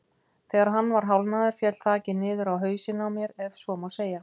Þegar hann var hálfnaður féll þakið niður á hausinn á mér ef svo má segja.